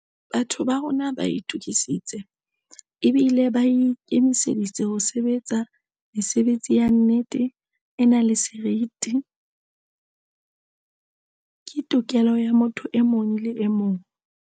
Batho ba rona ba itukisitse ebile ba ikemiseditse ho sebe tsa. Mesebetsi ya nnete, e nang le seriti, ke tokelo ya motho e mong le emong.